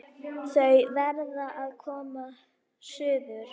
Þau verða að koma suður!